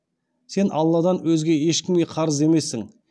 сен алладан өзге ешкімге қарыз емессің